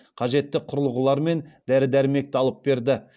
қажетті құрылғылар мен дәрі дәрмекті алып берді